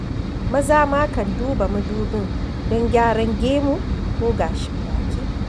Maza ma kan duba madubin don gyaran gamu ko gashin baki.